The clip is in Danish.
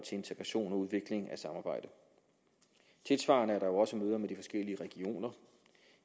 integration og udvikling af samarbejde tilsvarende er der jo også møder med de forskellige regioner